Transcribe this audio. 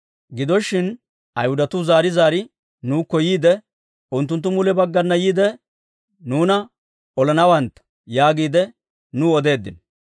Gido shin, Ayhudatuu zaari zaari nuukko yiide, «Unttunttu mule baggana yiide, nuuna olanawantta» yaagiide nuw odeeddino.